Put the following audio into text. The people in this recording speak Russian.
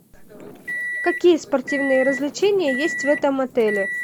какие спортивные развлечения есть в этом отеле